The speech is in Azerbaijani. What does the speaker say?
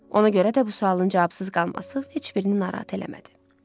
Ona görə də bu sualın cavabsız qalması heç birini narahat eləmədi.